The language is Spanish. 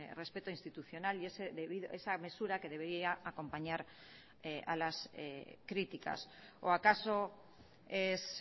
respeto institucional y esa mesura que debería acompañar a las críticas o acaso es